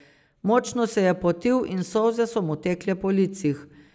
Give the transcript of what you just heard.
Močno se je potil in solze so mu tekle po licih.